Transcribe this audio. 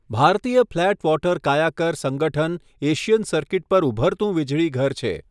ભારતીય flat water kayaker સંગઠન Asian circuit પર ઊભરતું વીજળીઘર છે.